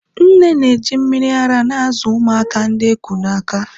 nne na-eji mmiri ara na-azụ ụmụaka ndi eku n'aka